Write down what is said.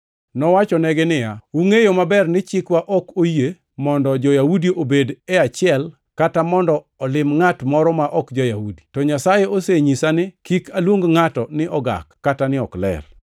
Nowachonegi niya, “Ungʼeyo maber ni chikwa ok oyie mondo ja-Yahudi obed e achiel kata mondo olim ngʼat moro ma ok ja-Yahudi. To Nyasaye osenyisa ni kik aluong ngʼato ni ogak kata ni ok ler.